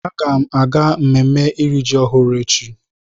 Agam aga mmemme iri ji ọhụrụ echi.